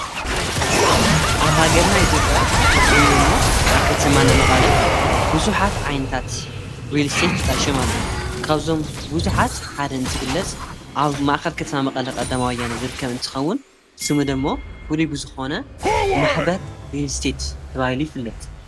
ኣብ ሃገርና ኢቲጴያ ብፍሉዩዶ እሞ ኣኸተማና መቓለ ብዙኃት ዓይንታት ርልስተት ተጣሸም ኣሉ ካብዞም ብዙኃት ሓደ እንት ግለጽ ኣብ ማእኸል ከተማ መቓለ ቓዳማዊያነ ዝርከምን ትኸውን ስሙደሞ ፍሉብዝኾነ ማኅበር ርልስተት ተብይሉ ይፍለት።